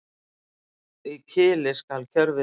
Í kili skal kjörviður.